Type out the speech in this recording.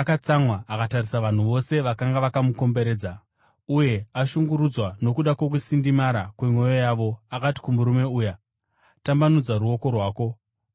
Atsamwa, akatarisa vanhu vose vakanga vakamukomberedza, uye ashungurudzwa nokuda kwokusindimara kwemwoyo yavo akati kumurume uya, “Tambanudza ruoko rwako.”